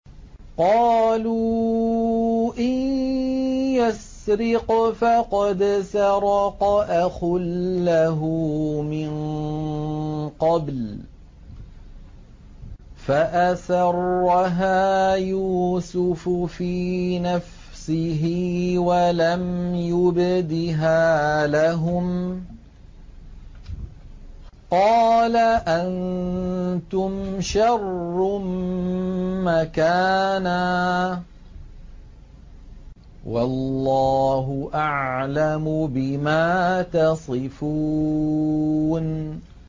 ۞ قَالُوا إِن يَسْرِقْ فَقَدْ سَرَقَ أَخٌ لَّهُ مِن قَبْلُ ۚ فَأَسَرَّهَا يُوسُفُ فِي نَفْسِهِ وَلَمْ يُبْدِهَا لَهُمْ ۚ قَالَ أَنتُمْ شَرٌّ مَّكَانًا ۖ وَاللَّهُ أَعْلَمُ بِمَا تَصِفُونَ